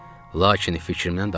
Lakin fikrimdən daşındım.